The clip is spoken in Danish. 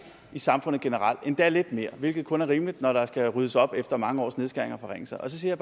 i samfundet generelt endda lidt mere hvilket kun er rimeligt når der skal ryddes op efter mange års nedskæringer og forringelser og så siger